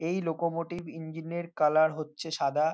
এই locomotive engine -এর colour হচ্ছে সাদা।